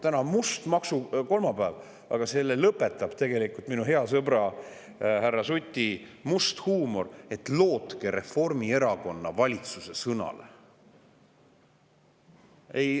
Täna on must maksukolmapäev, aga selle lõpetab tegelikult minu hea sõbra härra Suti must huumor: lootke Reformierakonna valitsuse sõnale.